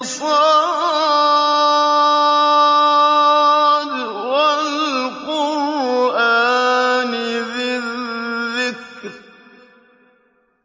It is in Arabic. ص ۚ وَالْقُرْآنِ ذِي الذِّكْرِ